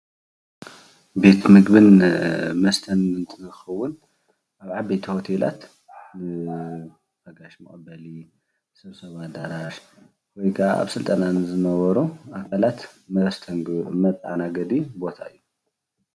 ቤት ምግብን መስተን እንትከውን ኣብ ዓበይቲ ሆቴላት ናይ ጋይሽ መቀበሊ ናይ ሰብሰባ ኣዳራሽ ወይ ከኣ ኣብ ስልጠና ንዝነበሩ ኣካላት መስተንግዶ መተኣናገዲ ቦታ እዩ፡፡